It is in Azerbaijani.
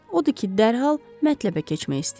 Odur ki, dərhal mətləbə keçmək istəyirəm.